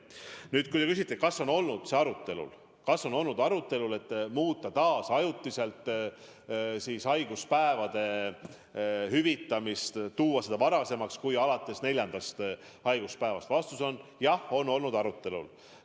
Nüüd, kui te küsite, kas on olnud arutelul ettepanek muuta taas ajutiselt haiguspäevade hüvitamist, tuua seda varasemaks kui alates neljandast haiguspäevast, siis vastus on: jah, on olnud arutelul.